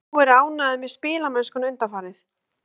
Hefur þú verið ánægður með spilamennskuna undanfarið?